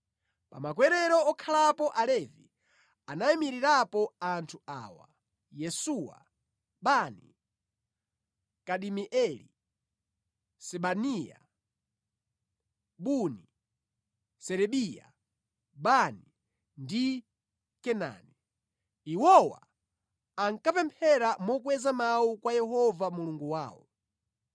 Pa makwerero okhalapo alevi anayimirirapo anthu awa: Yesuwa, Bani, Kadimieli, Sebaniya, Buni, Serebiya, Bani ndi Kenani. Iwowa ankapemphera mokweza mawu kwa Yehova Mulungu wawo.